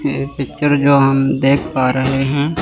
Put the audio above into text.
ये पिक्चर जो हम देख पा रहे हैं--